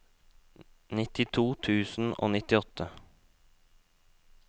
nittito tusen og nittiåtte